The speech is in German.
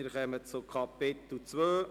Wir kommen zu Kapitel II.